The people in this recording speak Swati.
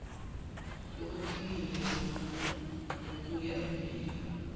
lokucinile lokuya embili